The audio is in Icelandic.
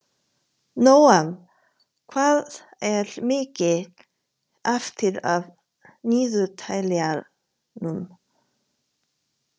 Nóam, hvað er mikið eftir af niðurteljaranum?